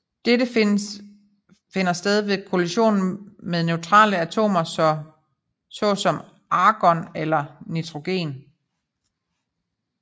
Dette finder sted ved kollision med neutrale atomer så som argon eller nitrogen